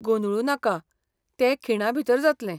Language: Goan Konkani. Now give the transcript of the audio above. गोंदळू नाका, ते खिणाभीतर जातलें.